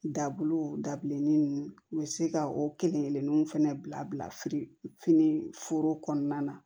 Dabulu dabilenni ninnu u bɛ se ka o kelen-kelennu fɛnɛ bila firifini foro kɔnɔna na